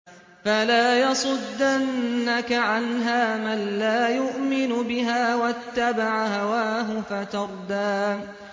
فَلَا يَصُدَّنَّكَ عَنْهَا مَن لَّا يُؤْمِنُ بِهَا وَاتَّبَعَ هَوَاهُ فَتَرْدَىٰ